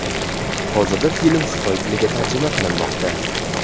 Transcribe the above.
Hozirda film xitoy tiliga tarjima qilinmoqda.